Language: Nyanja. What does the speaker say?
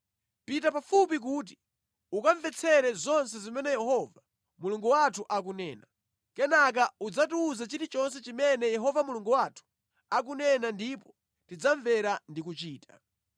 Pita pafupi kuti ukamvetsere zonse zimene Yehova Mulungu wathu akunena. Kenaka udzatiwuze chilichonse chimene Yehova Mulungu wathu akunena ndipo tidzamvera ndi kuchita.”